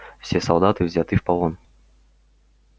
все солдаты взяты в полон